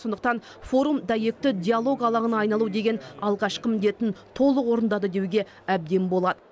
сондықтан форум дәйекті диалог алаңына айналу деген алғашқы міндетін толық орындады деуге әбден болады